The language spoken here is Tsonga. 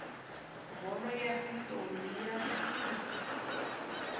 bholo yatintombi yatsakisa